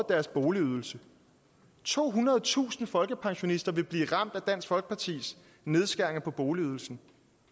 deres boligydelse tohundredetusind folkepensionister vil blive ramt af dansk folkepartis nedskæringer på boligydelsen